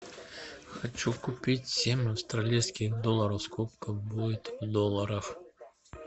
хочу купить семь австралийских долларов сколько будет в долларах